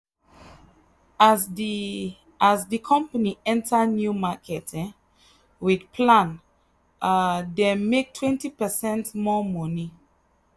as the as the company enter new market um with plan um dem make 20 percent more money.